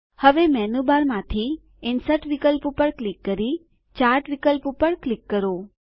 હવે મેનૂ બારમાંથી ઇન્સર્ટ વિકલ્પ ઉપર ક્લિક કરી ચાર્ટ વિકલ્પ પર ક્લિક કરો